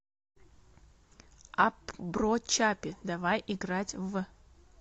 апп бро чаппи давай играть в